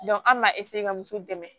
an m'a ka muso dɛmɛ